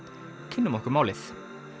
kynnum okkur málið